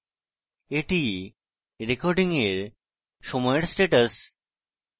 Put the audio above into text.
এটি recording এর সময়ের status